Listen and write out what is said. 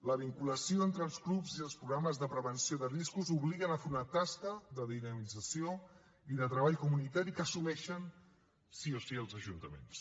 la vinculació entre els clubs i els programes de prevenció de riscos obliguen a fer una tasca de dinamització i de treball comunitari que assumeixen sí o sí els ajuntaments